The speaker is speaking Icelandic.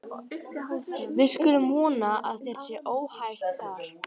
Við skulum vona að þér sé óhætt þar.